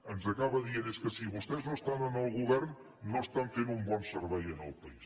ens acaba dient és que si vostès no estan al govern no estan fent un bon servei al país